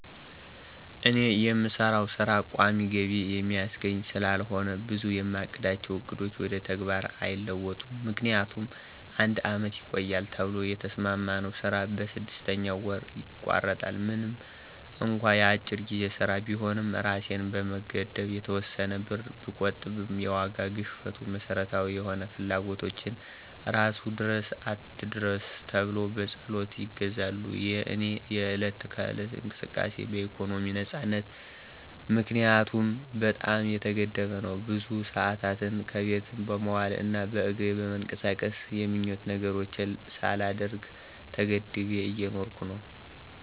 እኔ የምሰራው ሥራ ቋሚ ገቢ የሚያስገኝ ስላልሆነ ብዙ የማቅዳቸው ዕቅዶች ወደ ተግባር አይለወጡም። ምክንያቱም አንድ አመት ይቆያል ተብሎ የተሰማማነው ስራ በስድስተኛ ወሩ ይቋረጣል። ምንም እንኳ የአጭር ጊዜ ሥራ ቢሆንም እራሴን በመገደብ የተወሰነ ብር ብቆጥብም የዋጋ ግሽፈቱ መሠረታዊ የሆኑ ፍላጎቶችን እራሱ ድረስ አትድረስ ተብሎ በፀሎት ይገዛሉ። የእኔ የዕለት ከዕለት እንቅስቃሴ በኢኮኖሚ ነፃነት ምክንያት በጣም የተገደበ ነው። ብዙ ሰአታትን ከቤት በመዋል እና በእግሬ በመንቀሳቀስ የምኞት ነገሮችን ሳላደርግ ተገድቤ እየኖርኩ እገኛለሁ።